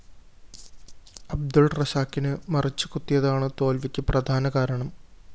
അബ്ദുള്‍ റസാക്കിന് മറിച്ചുകുത്തിയതാണ് തോല്‍വിക്ക് പ്രധാനകാരണം